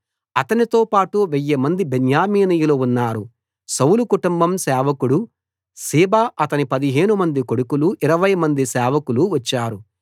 అతనితోపాటు వెయ్యిమంది బెన్యామీనీయులు ఉన్నారు సౌలు కుటుంబం సేవకుడు సీబా అతని పదిహేనుమంది కొడుకులు ఇరవైమంది సేవకులు వచ్చారు